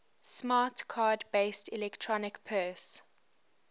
smart card based electronic purse